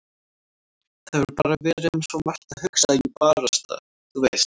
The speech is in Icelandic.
Það hefur bara verið um svo margt að hugsa að ég barasta. þú veist.